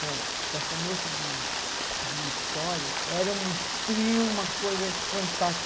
Bom, para começo de história, era um frio, uma coisa fantástica.